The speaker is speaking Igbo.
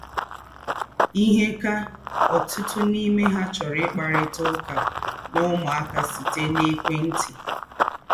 Íhè kà ọ̀tụ̀tụ̀ n’ímè há chọ̀rọ̀ íkparítà ứká nà ứmụ́áká sị́tẹ́ n’èkwẹ́ntì.